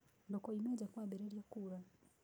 Ndũkaume nja kwambĩrĩria kuura.